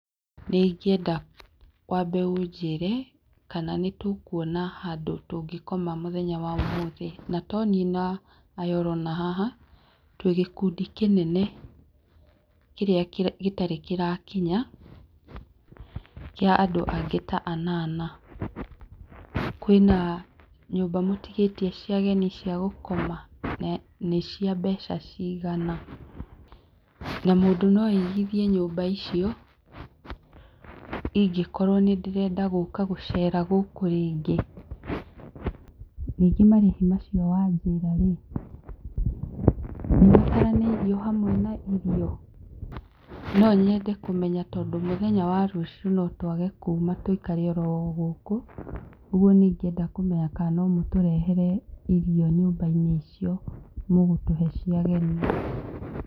Nĩ ingĩeda wambe ũnjĩre kana nĩ tũkwona handũ tũngĩkoma mũthenya wa ũmũthĩ, na toniĩ na aya ũrona haha, twĩ gĩkundi kĩnene kĩrĩa gĩtarĩ kĩrakinya kĩa andũ angĩ ta anana. Kwĩna nyũmba mũtigĩtie cia ageni cia gũkoma na nĩ cia mbeca cigana na mũndũ no aigithie nyũmba icio ĩngĩkorwo nĩ ndĩrenda gũka gũcera gũkũ rĩngĩ, ningĩ marĩhi macio wa njĩra rĩ nĩ mataranĩirio hamwe na irio? No nyende kũmenya tondũ mũthenya wa rũciũ no twage kuma tũikare oro o gũkũ, ũguo nĩ ingĩenda kũmenya kana no mũtũrehe irio nyũmba-inĩ icio mũgũtũhe cia ageni.